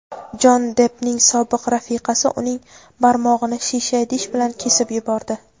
Jonni Deppning sobiq rafiqasi uning barmog‘ini shisha idish bilan kesib yubordi.